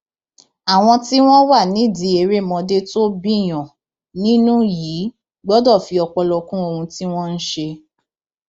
àwọn tí wọn wà nídìí erémọdé tó bíiyàn nínú yìí gbọdọ fi ọpọlọ kún ohun tí wọn ń ṣe